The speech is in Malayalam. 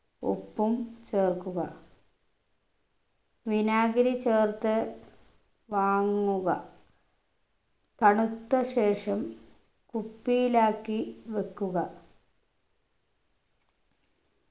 ഉപ്പും ചേർക്കുക വിനാഗിരി ചേർത്ത് വാങ്ങുക തണുത്ത ശേഷം കുപ്പിയിലാക്കി വെക്കുക